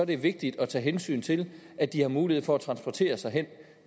det vigtigt at tage hensyn til at de har mulighed for at transportere sig hen